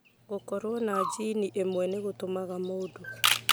Gũkorũo na jini ĩmwe nĩ gũtũmaga mũndũ